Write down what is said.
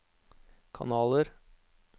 kanaler